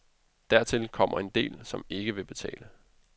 Dertil kommer en del, som ikke vil betale.